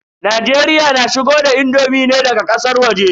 Najeriya na shigo da indomi ne daga ƙasar waje.